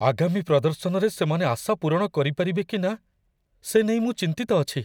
ଆଗାମୀ ପ୍ରଦର୍ଶନରେ ସେମାନେ ଆଶା ପୂରଣ କରିପାରିବେ କି ନା, ସେ ନେଇ ମୁଁ ଚିନ୍ତିତ ଅଛି।